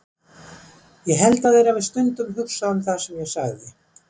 Ég held að þeir hafi stundum hugsað um það sem ég sagði.